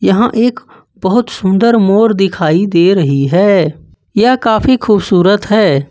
यहां एक बहोत सुंदर मोर दिखाई दे रही है यह काफी खूबसूरत है।